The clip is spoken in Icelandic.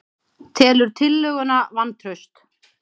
Telur tillöguna vantraust